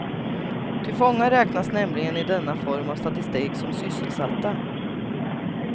Ty fångar räknas nämligen i denna form av statistik som sysselsatta.